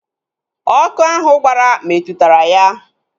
Ọkụ ahụ gbara metụtara ya